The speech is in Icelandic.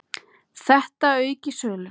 Þetta auki söluna.